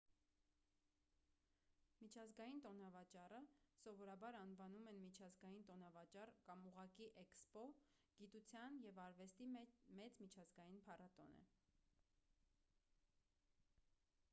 միջազգային տոնավաճառը սովորաբար անվանում են միջազգային տոնավաճառ կամ ուղղակի էքսպո գիտության և արվեստի մեծ միջազգային փառատոն է: